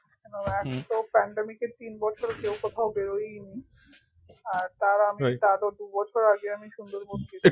আহ তো pandemic এর তিন বছর কেউ কোথাও বেরোই নি আর তার আমি তারও দু বছর আগে আমি সুন্দরবন গেছিলাম